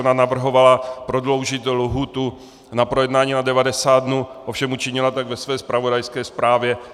Ona navrhovala prodloužit lhůtu na projednání na 90 dnů, ovšem učinila tak ve své zpravodajské zprávě.